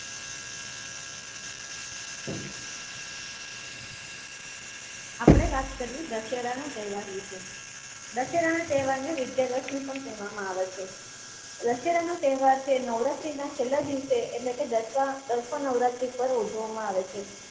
આપડે વાત કર્યે દશેરા ના તેહવાર વીસે. દશેરા ના તેહવાર ને વિજયાદશમી પણ કહવામાં આવે છે. દશેરા નો તેહવાર છે એ નવરાત્રિ ના છેલ્લા દિવસે એટલે કે દશેરા દસમા નવરાત્રિ પર ઉજવામાં આવે છે.